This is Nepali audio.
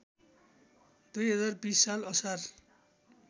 २०२० साल असार